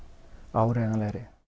áreiðanlegri